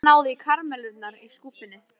Heiða náði í karamellurnar í skúffunni.